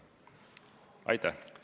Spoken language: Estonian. Aitäh!